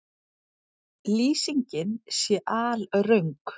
Lýsingin sé alröng